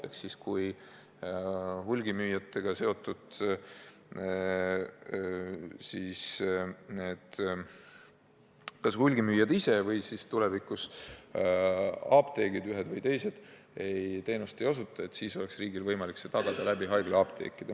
Ehk siis: kui hulgimüüjad ise või nendega seotud apteegid teenust ei osuta, siis oleks riigil võimalik see teenus tagada haiglaapteekide kaudu.